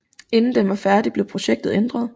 Inden den var færdig blev projektet ændret